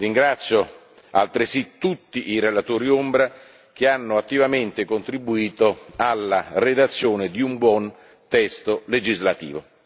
Ringrazio altresì tutti i relatori ombra che hanno attivamente contribuito alla redazione di un buon testo legislativo.